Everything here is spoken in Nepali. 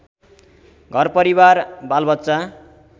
घरपरिवार बालबच्चा